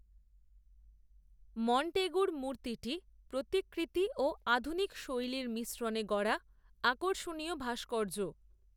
মন্টেগুর মূর্তিটি প্রতিকৃতি, ও আধুনিক শৈলীর মিশ্রণে গড়া, আকর্ষণীয় ভাস্কর্য